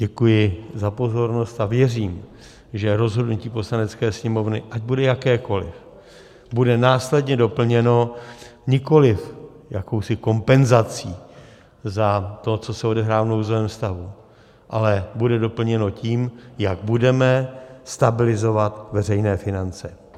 Děkuji za pozornost a věřím, že rozhodnutí Poslanecké sněmovny, ať bude jakékoliv, bude následně doplněno nikoliv jakousi kompenzací za to, co se odehrává v nouzovém stavu, ale bude doplněno tím, jak budeme stabilizovat veřejné finance.